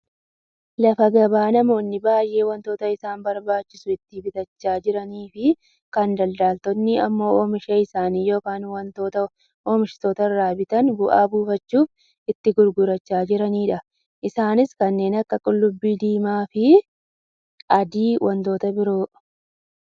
Lafa gabaa namoonni baayyee wantoota isaan barbaachisu itti bitachaa jiraniifi kan daldaaltonni ammok oomisha isaanii yookaan wanta oomishtoota irraa bitan bu'aa buufachuub itti gurgurachaa jiranidha. Isaanis kanneen akka qullubbii diimaa, adiifi wantoota biroodha.